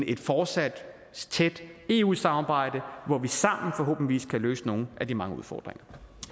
et fortsat tæt eu samarbejde hvor vi sammen forhåbentligvis kan løse nogle af de mange udfordringer